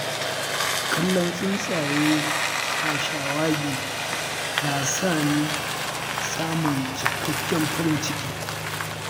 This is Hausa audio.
Kallon tsuntsaye suna shawagi, na sa ni samun cikakken farin ciki.